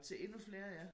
Til endnu flere ja